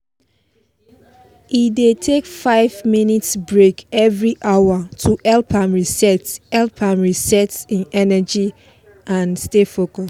e dey take five minutes break every hour to help am reset help am reset hin energy and stay focus